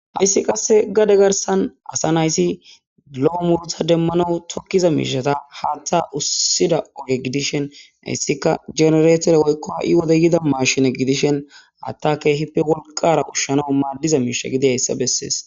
Hayssi qasse gade garsan asa nayssi lo7o murta demmano tokkiza miishata haatha ussida oge gidishen hayssika genereetore woykko ha7i wode yida maashine gidishen hattaka hippe wolqara ushshano maaddiza miisha gidi hayssa bessees